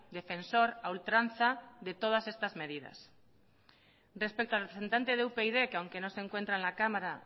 defensor a ultranza de todas estas medidas respecto al representante de upyd que aunque no se encuentra en la cámara